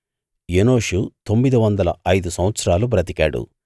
ఎనోషు తొమ్మిది వందల ఐదు సంవత్సరాలు బ్రతికాడు